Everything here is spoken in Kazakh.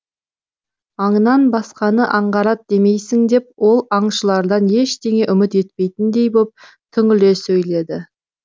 аңнан басқаны аңғарат деймісің деп ол аңшылардан ештеңе үміт етпейтіндей боп түңіле сөйледі